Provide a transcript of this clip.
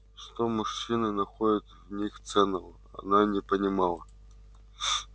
что мужчины находят в них ценного она не понимала